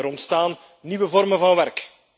Er ontstaan nieuwe vormen van werk.